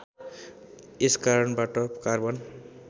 यस कारणबाट कार्बन